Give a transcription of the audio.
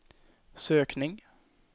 sökning